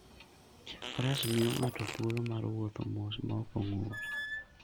Faras miyo ng'ato thuolo mar wuotho mos maok ong'ur.